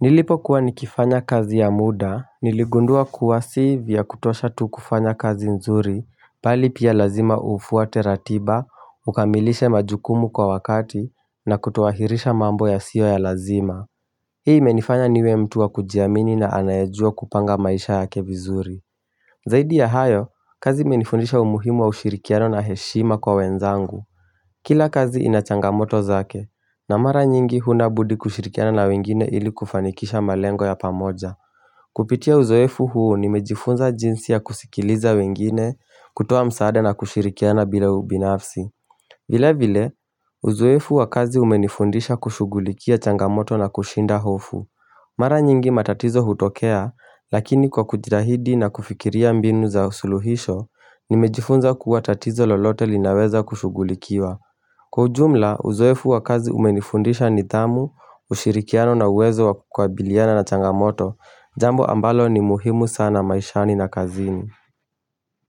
Nilipo kuwa nikifanya kazi ya muda, niligundua kuwa si vya kutosha tu kufanya kazi nzuri, pali pia lazima ufuate ratiba, ukamilishe majukumu kwa wakati, na kutuahirisha mambo ya sio ya lazima. Hii menifanya niwe mtu wa kujiamini na anayajua kupanga maisha ya taje vizuri. Zaidi ya hayo, kazi menifundisha umuhimu wa ushirikiano na heshima kwa wenzangu. Kila kazi inachangamoto zake na mara nyingi hunabudi kushirikiana na wengine ili kufanikisha malengo ya pamoja Kupitia uzoefu huo nimejifunza jinsi ya kusikiliza wengine kutoa msaada na kushirikiana bila ubinafsi vile vile uzoefu wa kazi umenifundisha kushugulikia changamoto na kushinda hofu Mara nyingi matatizo hutokea lakini kwa kujitahidi na kufikiria mbinu za usuluhisho Nimejifunza kuwatatizo lolote linaweza kushugulikiwa Kwa ujumla, uzoefu wa kazi umenifundisha nidhamu, ushirikiano na uwezo wa kukabiliana na changamoto, jambo ambalo ni muhimu sana maishani na kazini.